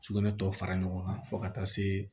Sugunɛ tɔ fara ɲɔgɔn kan fo ka taa se